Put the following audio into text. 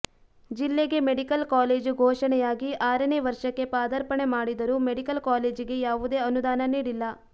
ಜಿಲ್ಲೆಗೆ medical college ಘೋಷಣೆಯಾಗಿ ಆರನೇ ವರ್ಷಕ್ಕೆ ಪಾದರ್ಪಾಣೆ ಮಾಡಿದರೂ ಮೆಡಿಕಲ್ ಕಾಲೇಜಿಗೆ ಯಾವುದೇ ಅನುದಾನ ನೀಡಿಲ್ಲ